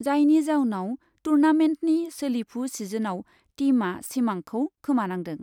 जायनि जाउनाव टुर्नामेन्टनि सोलिफु सिजनआव टीमआ सिमांखौ खोमानांदों।